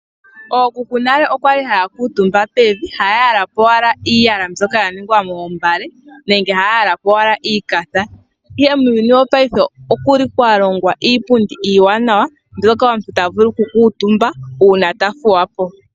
Ookuku nale okwali haya kuutumba pevi haya yala po owala iiyala mbyoka ningwa moombale nenge haya yala po owala iikafa, ihe muuyuni mbuno wopaife okuli kwa longwa iipundi iiwanawa moka omuntu ta vulu oku kuutumba uuna ta thuwa po.